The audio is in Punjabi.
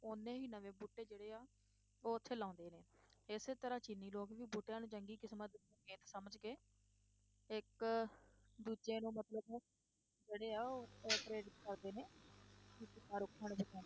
ਓਨੇ ਹੀ ਨਵੇਂ ਬੂਟੇ ਜਿਹੜੇ ਆ ਉਹ ਉੱਥੇ ਲਾਉਂਦੇ ਨੇ, ਇਸੇ ਤਰ੍ਹਾਂ ਚੀਨੀ ਲੋਕ ਵੀ ਬੂਟਿਆਂ ਨੂੰ ਚੰਗੀ ਕਿਸ਼ਮਤ ਦਾ ਚਿੰਨ ਸਮਝ ਕੇ ਇੱਕ ਦੂਜੇ ਨੂੰ ਮਤਲਬ ਜਿਹੜੇ ਆ ਉਹ ਕਰਦੇ ਨੇ